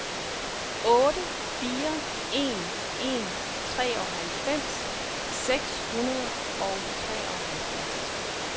otte fire en en treoghalvfems seks hundrede og treoghalvfjerds